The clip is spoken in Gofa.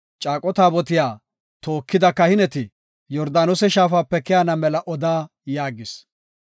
“Caaqo taabotiya tookida kahineti Yordaanose shaafape keyana mela oda” yaagis.